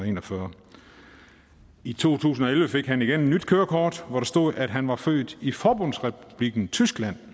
en og fyrre i to tusind og elleve fik han igen et nyt kørekort hvor der stod at han var født i forbundsrepublikken tyskland